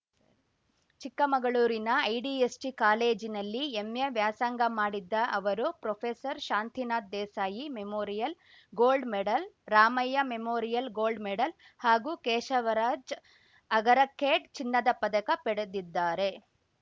ಚಿಕ್ಕಮಗಳೂರಿನ ಐಡಿಎಸ್‌ಜಿ ಕಾಲೇಜಿನಲ್ಲಿ ಎಂಎ ವ್ಯಾಸಂಗ ಮಾಡಿದ್ದ ಅವರು professor Shantinath Desai memorial gold medal Ramaiah memorial gold medal ಹಾಗೂ ಕೇಶವರಾಜ್‌ ಅಗರಕೇಡ್‌ ಚಿನ್ನದ ಪದಕ ಪಡೆದಿದ್ದಾರೆ